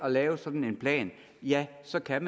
at lave sådan en plan jamen så kan